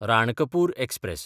Ranakpur express